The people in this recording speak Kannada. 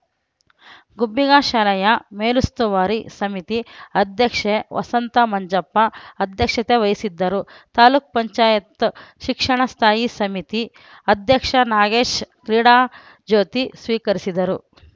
ಗುಬ್ಬಿಗಾ ಶಾಲೆಯ ಮೇಲುಸ್ತುವಾರಿ ಸಮಿತಿ ಅಧ್ಯಕ್ಷೆ ವಸಂತಮಂಜಪ್ಪ ಅಧ್ಯಕ್ಷತೆ ವಹಿಸಿದ್ದರು ತಾಲುಕ್ ಪಂಚಾಯತ್ ಶಿಕ್ಷಣ ಸ್ಥಾಯಿ ಸಮಿತಿ ಅಧ್ಯಕ್ಷ ನಾಗೇಶ್‌ ಕ್ರೀಡಾ ಜ್ಯೋತಿ ಸ್ವೀಕರಿಸಿದರು